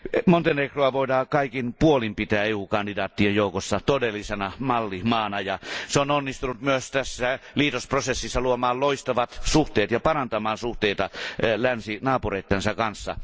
Montenegroa voidaan kaikin puolin pitää EU kandidaattien joukossa todellisena mallimaana, ja se on onnistunut myös tässä liitosprosessissa luomaan loistavat suhteet ja parantamaan suhteita länsinaapureittensa kanssa.